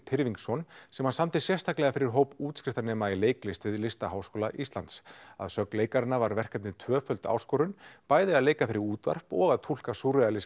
Tyrfingsson sem hann samdi sérstaklega fyrir hóp útskriftarnema í leiklist við Listaháskóla Íslands að sögn leikaranna var verkefnið tvöföld áskorun bæði að leika fyrir útvarp og að túlka